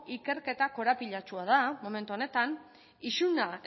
ikerketak korapilatsua da momentu honetan isuna